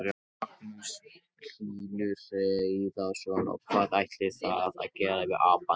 Magnús Hlynur Hreiðarsson: Og hvað ætlið þið að gera við apann núna?